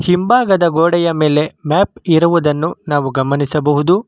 ಹಿಂಭಾಗದ ಗೋಡೆಯ ಮೇಲೆ ಮ್ಯಾಪ್ ಇರುವುದನ್ನು ನಾವು ಗಮನಿಸಬಹುದು.